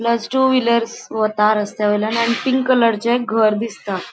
Plus two wheelers वता रस्त्यावयल्यान आणि पिंक कलर चे एक घर दिसता.